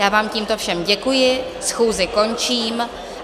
Já vám tímto všem děkuji, schůzi končím.